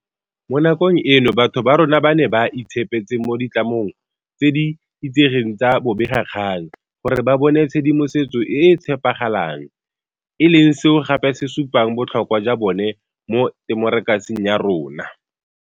Mo nakong eno batho ba rona ba ne ba itshepetse mo ditlamong tse di itsegeng tsa bobegakgang gore ba bone tshedimosetso e e tshepagalang, e leng seo gape se supang botlhokwa jwa bone mo temokerasing ya rona.